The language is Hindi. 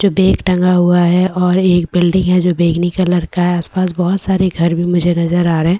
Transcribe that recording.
जो बेग टंगा हुआ हैं और एक बिल्डिंग हैं जो बैगनी कलर का हैं आस पास बहोत सारे घर भी मुझे नजर आ रहे--